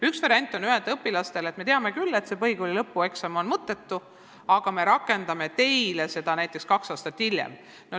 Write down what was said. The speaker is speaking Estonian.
Üks variant on öelda õpilastele, et me teame küll, et põhikooli lõpueksam on mõttetu, aga me rakendame seda süsteemi teile näiteks kaks aastat hiljem.